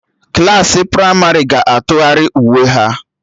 Klassị pramarị ga-atụgharị uwe ha